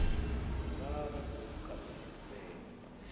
nga vha na u kanganyisea